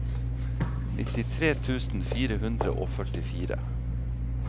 nittitre tusen fire hundre og førtifire